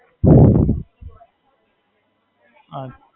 બરાબર.